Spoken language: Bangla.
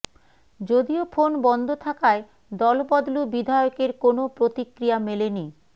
যদিও ফোন বন্ধ থাকায় দলবদলু বিধায়কের কোনও প্রতিক্রিয়া মেলেনি